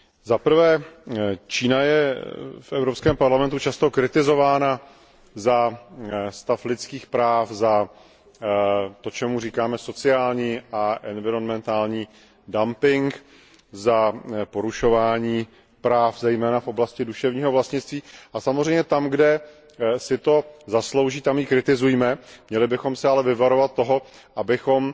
Zaprvé, Čína je v Evropském parlamentu často kritizována za stav lidských práv, za to, čemu říkáme sociální a environmentální dumping, za porušování práv, zejména v oblasti duševního vlastnictví a samozřejmě tam, kde si to zaslouží, tam ji kritizujme. Měli bychom se ale vyvarovat toho, abychom